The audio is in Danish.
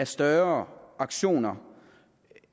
større aktioner